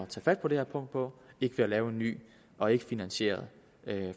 tage fat på det her punkt på ikke ved at lave en ny og ikkefinansieret